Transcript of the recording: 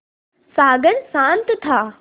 सागर शांत था